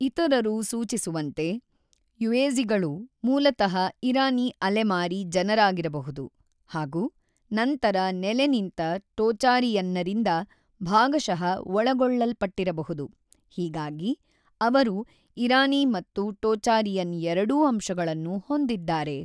ಇತರರು ಸೂಚಿಸುವಂತೆ ಯುಯೆಝಿಗಳು ಮೂಲತಃ ಇರಾನಿ ಅಲೆಮಾರಿ ಜನರಾಗಿರಬಹುದು ಹಾಗೂ ನಂತರ ನೆಲೆನಿಂತ ಟೋಚಾರಿಯನ್ನರಿಂದ ಭಾಗಶಃ ಒಳಗೊಳ್ಳಲ್ಪಟ್ಟಿರಬಹುದು, ಹೀಗಾಗಿ ಅವರು ಇರಾನಿ ಮತ್ತು ಟೋಚಾರಿಯನ್ ಎರಡೂ ಅಂಶಗಳನ್ನು ಹೊಂದಿದ್ದಾರೆ.